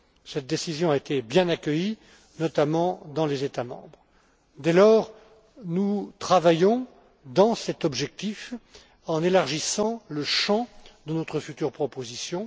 Cette décision a été bien accueillie, notamment dans les États membres. Dès lors, nous travaillons dans cet objectif en élargissant le champ de notre future proposition.